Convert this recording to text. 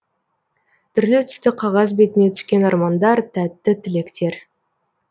түрлі түсті қағаз бетіне түскен армандар тәтті тілектер